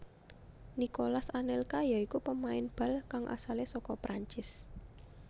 Nicolas Anelka ya iku pemain bal kang asale saka Perancis